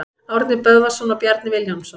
Árni Böðvarsson og Bjarni Vilhjálmsson.